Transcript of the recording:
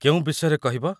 କେଉଁ ବିଷୟରେ କହିବ?